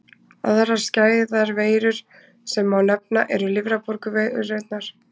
Aðrar skæðar veirur sem má nefna eru lifrarbólguveirurnar.